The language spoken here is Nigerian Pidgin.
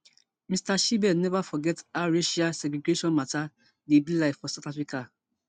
mr shibe never forget how racial segregation matter dey be like for south africa